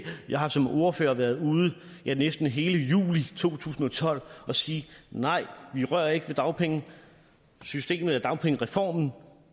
jeg har som ordfører været ude næsten hele juli to tusind og tolv at sige nej vi rører ikke ved dagpengesystemet dagpengereformen